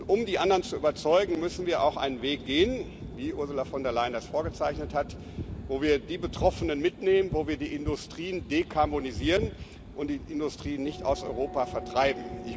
Und um die anderen zu überzeugen, müssen wir auch einen Weg gehen, wie Ursula von der Leyen das vorgezeichnet hat, wo wir die Betroffenen mitnehmen, wo wir die Industrien dekarbonisieren und die Industrien nicht aus Europa vertreiben.